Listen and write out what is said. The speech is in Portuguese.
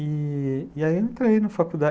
E aí eu entrei na faculdade.